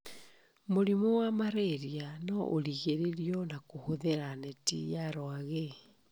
Mũrimũ wa Marĩria noũgirĩrĩrio na kũhũthĩra neti ya rwagĩ